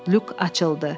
Lyuk açıldı.